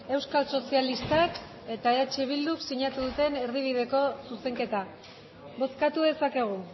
euskal sozialistak eta eh bilduk sinatu duten erdibideko zuzenketa bozkatu dezakegu